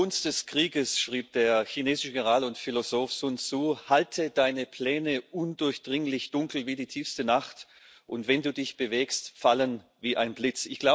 In der Kunst des Krieges schrieb der chinesische General und Philosoph Sun Tsu Halte deine Pläne undurchdringlich, dunkel wie die tiefste Nacht, und wenn du dich bewegst, falle wie ein Blitz.